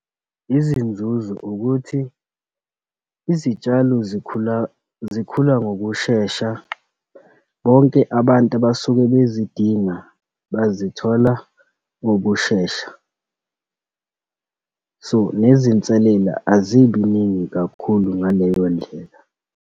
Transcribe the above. Izinzuzo ukuthi izitshalo zikhula, zikhula ngokushesha. Bonke abantu abasuke bezidinga bazithola ngokushesha, so nezinselela azibiningi kakhulu ngaleyo ndlela.